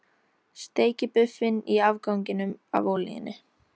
Steikið buffin í afganginum af olíunni.